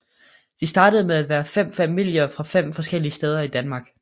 De startede med at være fem familier fra fem forskellige steder i Danmark